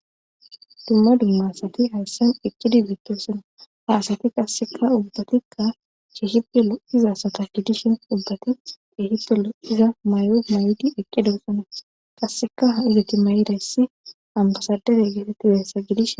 Dumma dumma asati haassan iqkidi bittoosana haasati qasseka ubbatikka cheehipe lo iza sata gidishin ubbati cheehipelo iza may7oo mayodi eqqedossana qasseka ha izati may7iressi ambasadete geetetti weyassa gidish